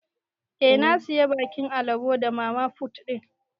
Eh na siya bakin alabo da mamafut din.